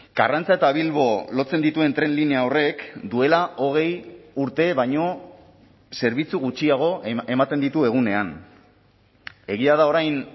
karrantza eta bilbo lotzen dituen tren linea horrek duela hogei urte baino zerbitzu gutxiago ematen ditu egunean egia da orain